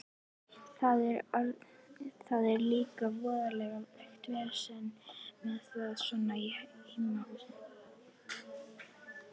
Það er líka voðalegt vesen með þá svona í heimahúsum.